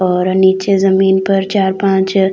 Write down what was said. और नीचे जमीन पर चार पांच--